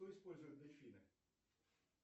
что используют дельфины